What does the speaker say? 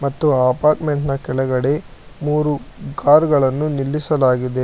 ಮತ್ತು ಅಪಾರ್ಟ್ಮೆಂಟ್ನ ಕೆಳಗಡೆ ಮೂರು ಕಾರು ಗಳನ್ನು ನಿಲ್ಲಿಸಲಾಗಿದೆ.